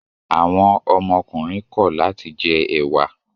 Àwọn ọmọkùnrin kọ̀ láti jẹ ẹ̀wà?